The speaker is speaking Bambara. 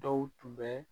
Dɔw tun bɛ